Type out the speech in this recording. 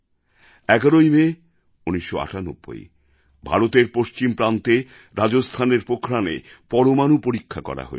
১১ই May ১৯৯৮ ভারতের পশ্চিম প্রান্তে রাজস্থানের পোখরানে পরমাণু পরীক্ষা করা হয়েছিল